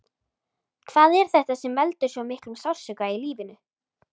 Hvað er þetta sem veldur svo miklum sársauka í lífinu?